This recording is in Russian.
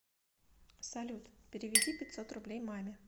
салют переведи пятьсот рублей маме